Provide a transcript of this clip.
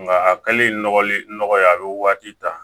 Nka a kɛlen nɔgɔya a bɛ waati ta